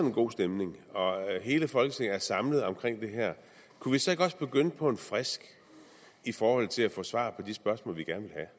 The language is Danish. en god stemning og hele folketinget er samlet omkring det her kunne vi så ikke også begynde på en frisk i forhold til at få svar på de spørgsmål vi gerne